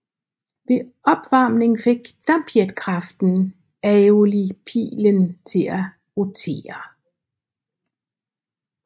Ved opvarmning fik dampjetkraften aeolipilen til at rotere